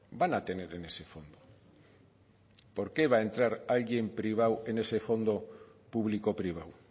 van a tener en ese fondo por qué va a entrar alguien privado en ese fondo público privado